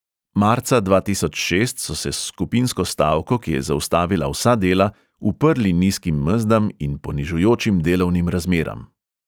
Marca dva tisoč šest so se s skupinsko stavko, ki je zaustavila vsa dela, uprli nizkim mezdam in ponižujočim delovnim razmeram.